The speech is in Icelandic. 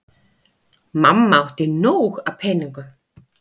Mamma átti nóg af peningum.